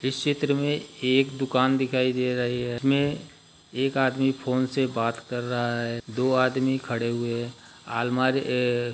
इस चित्र मे एक दुकान दिखाई दे रही है इसमे एक आदमी फोन से बात कर रहा है दो आदमी खड़े हुए अलमारी ए --